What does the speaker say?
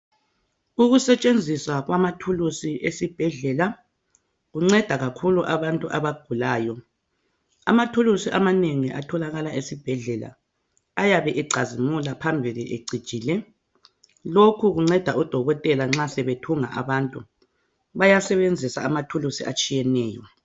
Ukusetshenziswa kwamathulusi esibhedlela kunceda kakhulu abantu abagulayo. Amathulusi amanengi atholakala esibhedlela ayabe ecazimula phambili ecijile lokhu kunceda odokotela nxa sebethunga abantu bayasebenzisa amathulusi atshiyeneyo.